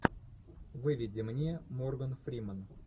выведи мне морган фримен